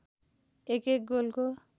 एक एक गोलको